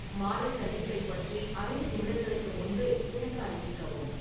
மாலை சந்திப்பைப் பற்றி ஐந்து நிமிடங்களுக்கு முன்பே எனக்கு அறிவிக்கவும்